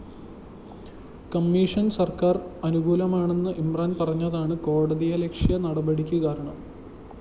commission സര്‍ക്കാര്‍ അനുകൂലമാണെന്ന് ഇമ്രാന്‍ പറഞ്ഞതാണ് കോടതിയലക്ഷ്യ നടപടിക്ക് കാരണം